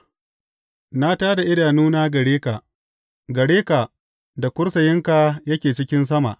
Na tā da idanuna gare ka, gare ka da kursiyinka yake cikin sama.